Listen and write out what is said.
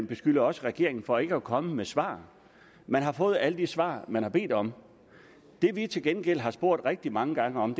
beskylder regeringen for ikke at komme med svar man har fået alle de svar man har bedt om det vi til gengæld har spurgt rigtig mange gange om